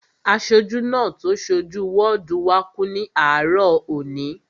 Aṣojú náà tó so jú wọ́ọ̀dù wá kú ní àárọ̀ òní